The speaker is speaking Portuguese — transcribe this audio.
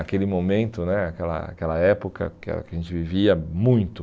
aquele momento né, aquela aquela época que ah que a gente vivia muito.